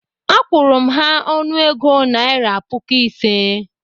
Akwụru m ha ọnụego naira puku ise